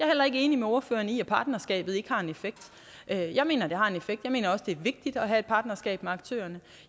heller ikke enig med ordføreren i at partnerskabet ikke har en effekt jeg mener det har en effekt jeg mener også det er vigtigt at have et partnerskab med aktørerne